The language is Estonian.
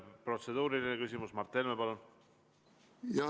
Protseduuriline küsimus, Mart Helme, palun!